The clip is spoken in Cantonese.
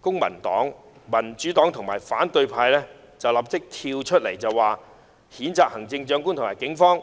公民黨、民主黨及反對派便立即出來譴責行政長官和警方。